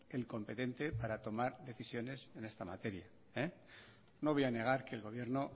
el competente para tomar decisiones en esta materia no voy a negar que el gobierno